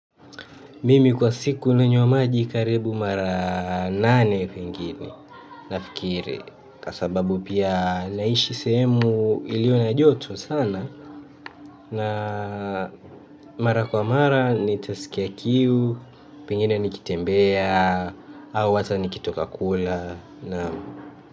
Mimi kwa siku nanywa maji karibu mara nane pengine nafikiri kwa sababu pia naishi semu iliyo na joto sana na mara kwa mara nitasikia kiu. Pingine nikitembea au ata nikitoka kula naam.